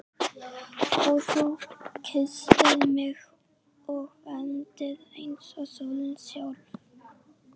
Og þú kysstir mig og vermdir eins og sólin sjálf.